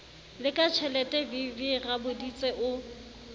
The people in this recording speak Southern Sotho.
le ka tjheletevv raboditse o